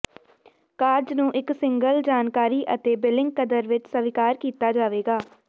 ਕਾਰਜ ਨੂੰ ਇੱਕ ਸਿੰਗਲ ਜਾਣਕਾਰੀ ਅਤੇ ਬਿਲਿੰਗ ਕਦਰ ਵਿੱਚ ਸਵੀਕਾਰ ਕੀਤਾ ਜਾਵੇਗਾ